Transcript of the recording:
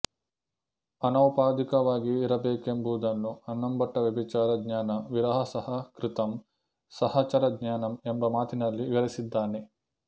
ಅನೌಪಾಧಿಕವಾಗಿರಬೇಕೆಂಬುದನ್ನು ಅನ್ನಂಭಟ್ಟ ವ್ಯಭಿಚಾರ ಜ್ಞಾನ ವಿರಹಸಹ ಕೃತಮ್ ಸಹಚರಜ್ಞಾನಮ್ ಎಂಬ ಮಾತಿನಲ್ಲಿ ವಿವರಿಸಿದ್ದಾನೆ